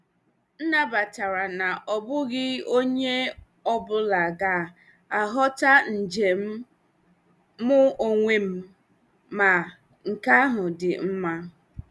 M nabatara na ọ bụghị onye ọ bụla ga-aghọta njem mu onwe m, ma nke ahụ dị mma.